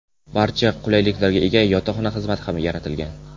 Barcha qulayliklarga ega yotoqxona xizmati ham yaratilgan.